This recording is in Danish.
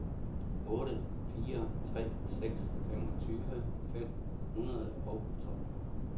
otte fire tre seks femogtyve fem hundrede og tolv